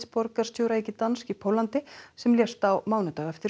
borgarstjóra í Gdansk í Póllandi sem lést á mánudag eftir